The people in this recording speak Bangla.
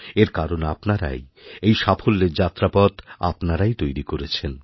এর কারণ আপনারাই এই সাফল্যেরযাত্রাপথ আপনারাই তৈরি করেছেন